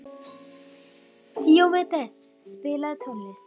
Díómedes, spilaðu tónlist.